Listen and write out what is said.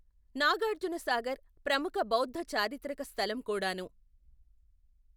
నాగార్జునసాగర్ ప్రముఖ బౌద్ధ చారిత్రక స్థలం కూడాను.